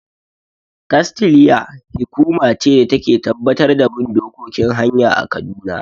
"KASTLEA" hi kuma ce da ta Ke tabbatar da bin dokokin hanya a kaduna